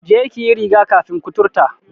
Je ki yi riga-kafin kuturta!